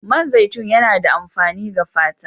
Man zaitun yana da amfani ga fata.